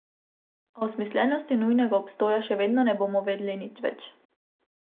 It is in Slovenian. A o smiselnosti njunega obstoja še vedno ne bomo vedeli nič več.